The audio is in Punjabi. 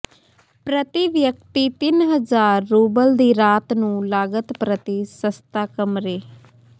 ਪ੍ਰਤੀ ਵਿਅਕਤੀ ਤਿੰਨ ਹਜ਼ਾਰ ਰੂਬਲ ਦੀ ਰਾਤ ਨੂੰ ਲਾਗਤ ਪ੍ਰਤੀ ਸਸਤਾ ਕਮਰੇ